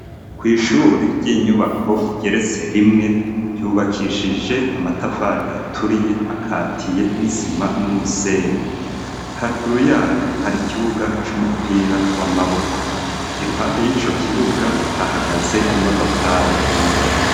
Kw'ishure ry'inyubako igeretse rimwe, ryubakishije amatafari aturiye akatiye n'isima n'umusenyi, haruguru yayo hari ikibuga c'umupira w'amaboko, iruhande y'ico kibuga hahagaze imodokari nyinshi.